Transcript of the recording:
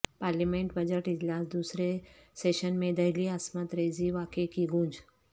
parliament budget اجلاس دوسرے session میں دہلی عصمت ریزی واقعے کی گونج